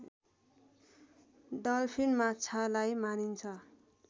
dolphin माछालाई मानिन्छ